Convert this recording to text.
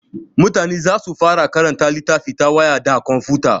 Mutane za su fara karanta littafi ta waya da komfuta.